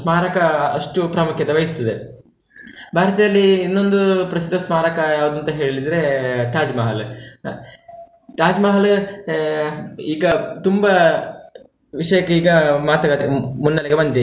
ಸ್ಮಾರಕ ಅಷ್ಟು ಪ್ರಾಮುಖ್ಯತೆ ವಹಿಸ್ತದೆ, ಭಾರತದಲ್ಲಿ ಇನ್ನೊಂದು ಪ್ರಸಿದ್ಧ ಸ್ಮಾರಕ ಯಾವ್ದು ಅಂತ ಹೇಳಿದ್ರೆ Taj Mahal ಆಹ್ Taj Mahal ಆಹ್ ಈಗ ತುಂಬಾ ವಿಷಯಕ್ಕೀಗ ಮಾತುಕತೆ ಮುನ್ನಡೆಗೆ ಬಂದಿದೆ.